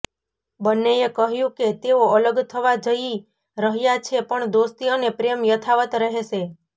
બન્નેએ કહ્યું કે તેઓ અલગ થવા જઈ રહ્યા છે પણ દોસ્તી અને પ્રેમ યથાવત રહેશે